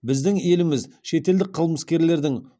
біздің еліміз шетелдік қылмыскерлердің